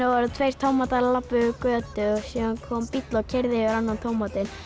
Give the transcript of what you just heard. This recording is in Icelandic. voru tveir tómatar að labba yfir götu síðan kom bíll og keyrði yfir annan tómatinn